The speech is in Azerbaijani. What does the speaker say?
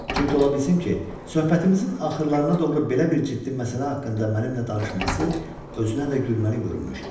Çünki ola bilsin ki, söhbətimizin axırlarına doğru belə bir ciddi məsələ haqqında mənimlə danışması özünə də gülməli görünmüşdü.